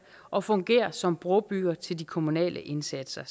og fungere som brobygger til de kommunale indsatser